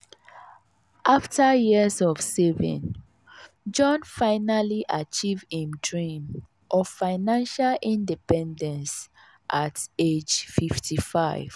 afta years of saving jon finally achieve him dream of financial independence at age 55.